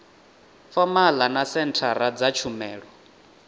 fomala na senthara dza tshumelo